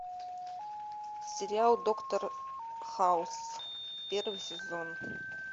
сериал доктор хаус первый сезон